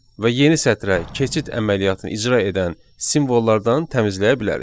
Və yeni sətrə keçid əməliyyatını icra edən simvollardan təmizləyə bilərik.